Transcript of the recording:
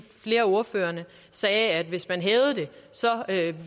flere af ordførerne sagde at hvis man hævede det